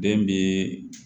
Den bɛ